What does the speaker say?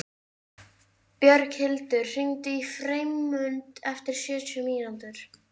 Björghildur, hringdu í Freymund eftir sjötíu mínútur.